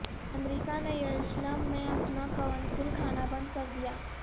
امریکہ نے یروشلم میں اپنا قونصل خانہ بند کر دیا